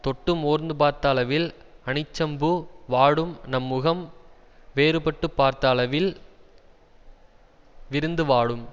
தொட்டு மோர்ந்து பார்த்த அளவில் அனிச்சப்பூ வாடும் நம் முகம் வேறுபட்டுப் பார்த்த அளவில் விருந்து வாடும்